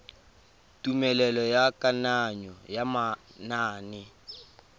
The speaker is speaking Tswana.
tumelelo ya kananyo ya manane